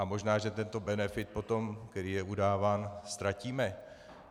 A možná, že tento benefit potom, který je udáván, ztratíme.